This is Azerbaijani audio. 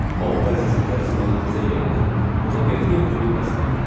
O Parisə səfəri zamanı bizə gələndə buna qətiyyən ümid bəsləmirdi.